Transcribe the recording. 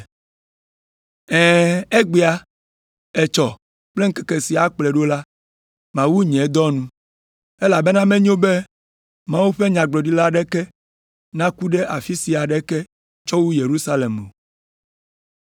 Ɛ̃, egbea, etsɔ kple ŋkeke si akplɔe ɖo la, mawu nye dɔ nu! Elabena menyo be Mawu ƒe nyagblɔɖila aɖeke naku ɖe afi aɖeke tsɔ wu Yerusalem o.